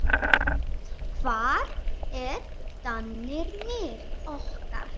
Hvar eru danirnir okkar?